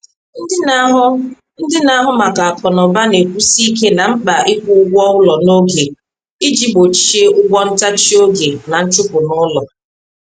Ndị na-ahụ Ndị na-ahụ maka akụnụba na-ekwusi ike na mkpa ịkwụ ụgwọ ụlọ n’oge iji gbochie ụgwọ ntachi oge na nchụpụ n’ụlọ.